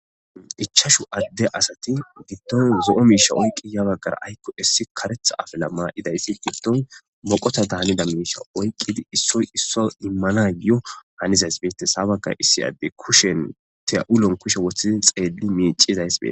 Ichashu adde asati gidton zo'o miisha oykqi ya baggara aykko issi karetha afela maa7idaysi giddton moqota daanida miisha oyqqidi issoy isso immana giyo hanizays beete sabaka issi adde kushen teya'ulon kushe woththizi xeeli miicizays bee.